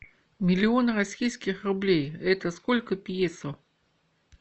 миллион российских рублей это сколько песо